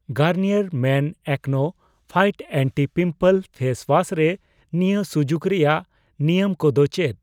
Garnier men AcnoFight anti pimple face wash ᱨᱮ ᱱᱤᱭᱟᱹ ᱥᱩᱡᱩᱠ ᱨᱮᱭᱟᱜ ᱱᱤᱭᱟᱹᱢ ᱠᱚ ᱫᱚ ᱪᱮᱫ ?